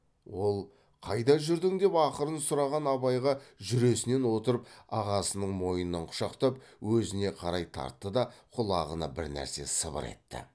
ол қайда жүрдің деп ақырын сұраған абайға жүресінен отырып ағасының мойнынан құшақтап өзіне қарай тартты да құлағына бірнәрсе сыбыр етті